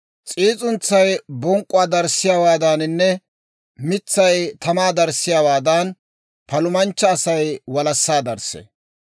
S'iis'untsay bonk'k'uwaa darissiyaawaadaaninne mitsay tamaa darissiyaawaadan, palumanchcha Asay walassaa darissee.